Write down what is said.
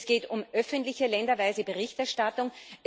Es geht um öffentliche länderweise Berichterstattung.